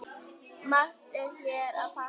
Margt er hér að þakka